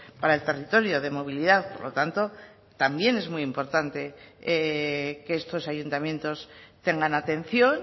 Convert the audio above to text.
para el territorio de movilidad por lo tanto también es muy importante que estos ayuntamientos tengan atención